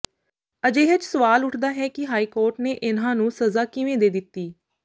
ਅਜਿਹੇ ਚਸਵਾਲ ਉੱਠਦਾ ਹੈ ਕਿ ਹਾਈਕੋਰਟ ਨੇ ਇਨ੍ਹਾਂ ਨੂੰ ਸਜ਼ਾ ਕਿਵੇਂ ਦੇ ਦਿੱਤੀ